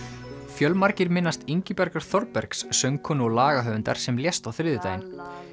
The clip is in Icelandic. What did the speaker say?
fjölmargir minnast Ingibjargar Þorbergs söngkonu og lagahöfundar sem lést á mánudaginn